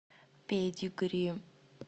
педигри